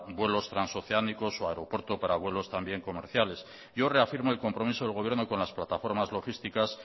vuelos transoceánicos o aeropuertos para vuelos también comerciales yo reafirmo el compromiso del gobierno con las plataformas logísticas